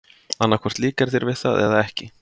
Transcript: Annað hvort líkar þér við það eða ekki.